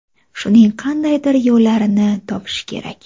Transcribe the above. Shuning qandaydir yo‘llarini topish kerak.